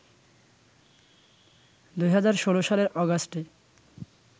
২০১৬ সালের অগাস্টে